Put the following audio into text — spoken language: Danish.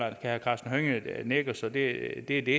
og herre karsten hønge nikker så det